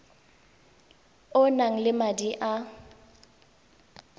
o nang le madi a